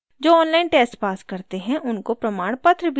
जो online test pass करते हैं उनको प्रमाणपत्र भी देते हैं